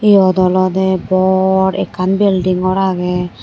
yot olode bor ekkan belding gor agey.